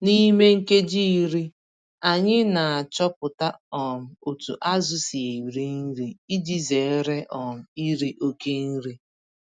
N'ime nkeji iri, anyị n'achọpụta um otú azụ si eri nri iji zere um iri oke nri.